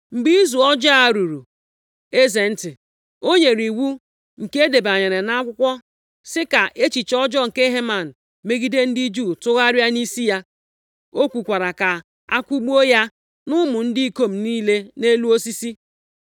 Mgbe izu ọjọọ a ruru eze ntị, o nyere iwu nke e debanyere nʼakwụkwọ sị, ka echiche ọjọọ nke Heman megide ndị Juu tụgharịa nʼisi ya, ọ kwukwara ka akwụgbuo ya na ụmụ ndị ikom niile nʼelu osisi.